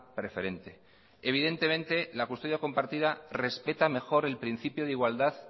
preferente evidentemente la custodia compartida respeta mejor el principio de igualdad